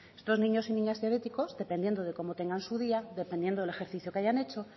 estos niños y niñas diabéticos dependiendo de cómo tengan su día dependiendo del ejercicio que hayan hecho